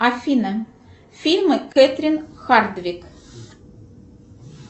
афина фильмы кэтрин хардвик